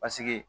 Paseke